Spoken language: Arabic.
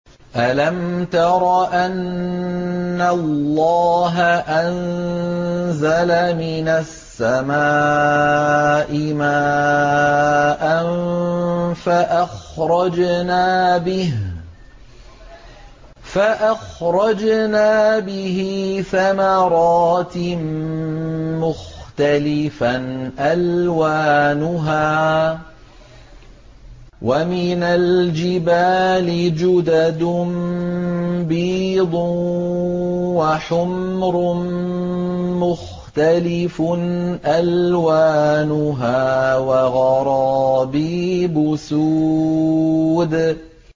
أَلَمْ تَرَ أَنَّ اللَّهَ أَنزَلَ مِنَ السَّمَاءِ مَاءً فَأَخْرَجْنَا بِهِ ثَمَرَاتٍ مُّخْتَلِفًا أَلْوَانُهَا ۚ وَمِنَ الْجِبَالِ جُدَدٌ بِيضٌ وَحُمْرٌ مُّخْتَلِفٌ أَلْوَانُهَا وَغَرَابِيبُ سُودٌ